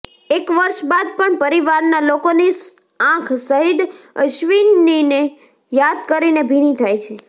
એક વર્ષ બાદ પણ પરિવારના લોકોની આંખ શહીદ અશ્વિનીને યાદ કરીને ભીની થાય છે